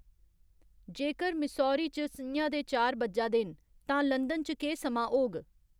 जेकर मिसौरी च स'ञा दे चार बज्जा दे न तां लंदन च केह् समां होग